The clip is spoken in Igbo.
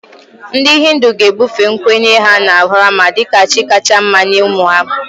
Ndị Hindu ga-ebufe nkwenye ha na Brahma dị ka chi kacha mma nye ụmụ ha